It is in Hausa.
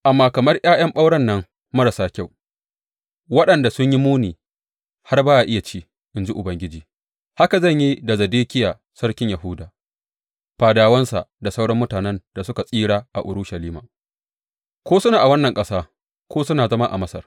Amma kamar ’ya’yan ɓauren nan marasa kyau, waɗanda sun yi muni har ba a iya ci,’ in ji Ubangiji, haka zan yi da Zedekiya sarkin Yahuda, fadawansa da sauran mutanen da suka tsira a Urushalima, ko suna a wannan ƙasa ko suna zama a Masar.